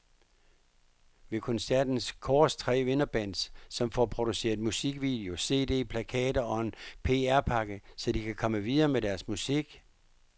Ved koncerten kåres tre vinderbands, som får produceret musikvideo, cd, plakater og en pr-pakke, så de kan komme videre med deres musik.